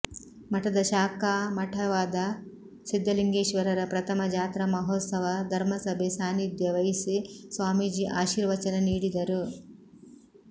ಮಠದ ಶಾಖಾಮಠವಾದ ಸಿದ್ದಲಿಂಗೇಶ್ವರರ ಪ್ರಥಮ ಜಾತ್ರಾ ಮಹೋತ್ಸವ ಧರ್ಮಸಭೆ ಸಾನ್ನಿಧ್ಯ ವಹಿಸಿ ಸ್ವಾಮೀಜಿ ಆಶೀರ್ವಚನ ನೀಡಿದರು